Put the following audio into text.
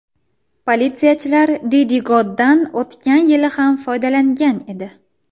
Politsiyachilar Didigod’dan o‘tgan yili ham foydalangan edi.